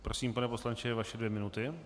Prosím, pane poslanče, vaše dvě minuty.